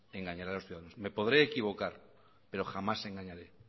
engañaré a los ciudadanos me podré equivocar pero jamás engañaré